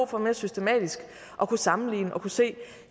for mere systematisk at kunne sammenligne og kunne se